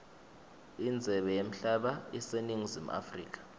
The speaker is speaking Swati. indzebe yemhlaba iseningizimu africa